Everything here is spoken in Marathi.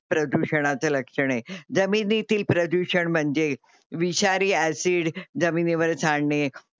प्रदूषणाचे लक्षण हे. जमिनीतील प्रदूषण म्हणजे विषारी ऍसि AC जमिनीवर सांडणे